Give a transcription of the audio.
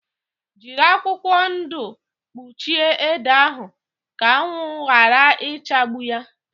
Jírí akwụkwọ ndụ kpuchie ede ahụ ka anwụ yara ichagbu yá